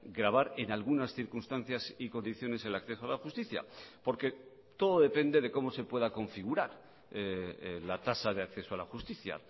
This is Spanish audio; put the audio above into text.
gravar en algunas circunstancias y condiciones el acceso a la justicia porque todo depende de cómo se pueda configurar la tasa de acceso a la justicia